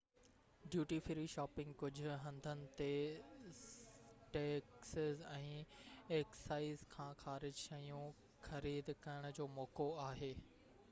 duty free shopping ڪجهه هنڌن تي ٽيڪسز ۽ ايڪسائيز کان خارج شيون خريد ڪرڻ جو موقعو آهي